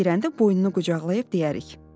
İçəri girəndə boynunu qucaqlayıb deyərik.